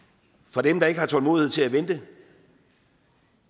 for dem der ikke har tålmodighed til at vente